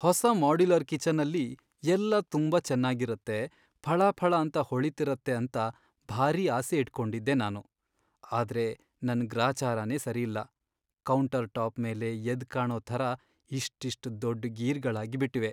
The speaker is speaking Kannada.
ಹೊಸ ಮಾಡ್ಯುಲರ್ ಕಿಚನ್ ಅಲ್ಲಿ ಎಲ್ಲ ತುಂಬಾ ಚೆನ್ನಾಗಿರತ್ತೆ, ಫಳಫಳ ಅಂತ ಹೊಳಿತಿರತ್ತೆ ಅಂತ ಭಾರೀ ಆಸೆ ಇಟ್ಕೊಂಡಿದ್ದೆ ನಾನು, ಆದ್ರೆ ನನ್ ಗ್ರಾಚಾರನೇ ಸರಿಯಿಲ್ಲ, ಕೌಂಟರ್ ಟಾಪ್ ಮೇಲೆ ಎದ್ದ್ಕಾಣೋ ಥರ ಇಷ್ಟಿಷ್ಟ್ ದೊಡ್ಡ್ ಗೀರ್ಗಳಾಗ್ಬಿಟಿವೆ.